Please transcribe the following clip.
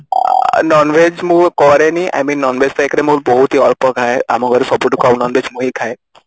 ଆଁ non Veg ମୁଁ କରେନି I mean Non Veg ରେ ମୁଁ ବହୁତ ହି ଅଳ୍ପ ଖାଏ ଆମ ଘରେ ସବୁଠୁ କମ Non Veg ମୁଁ ହିଁ ଖାଏ